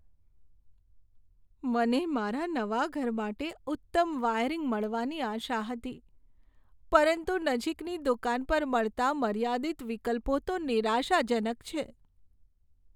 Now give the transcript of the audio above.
મને મારા નવા ઘર માટે ઉત્તમ વાયરિંગ મળવાની આશા હતી, પરંતુ નજીકની દુકાન પર મળતાં મર્યાદિત વિકલ્પો તો નિરાશાજનક છે.